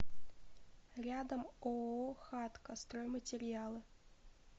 рядом ооо хатка стройматериалы